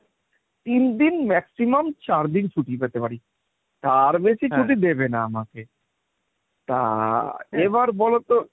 তিন দিন maximum চার দিন ছুটি পেতে পারি তার বেশি ছুটি দেবে না আমাকে তা এবার বলতো